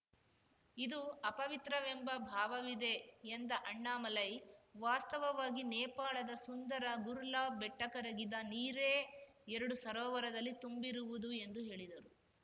ಇದು ಅಪವಿತ್ರವೆಂಬ ಭಾವವಿದೆ ಎಂದ ಅಣ್ಣಾಮಲೈ ವಾಸ್ತವವಾಗಿ ನೇಪಾಳದ ಸುಂದರ ಗುರುಲಾಬ್‌ ಬೆಟ್ಟಕರಗಿದ ನೀರೇ ಎರಡೂ ಸರೋವರದಲ್ಲಿ ತುಂಬಿರುವುದು ಎಂದು ಹೇಳಿದರು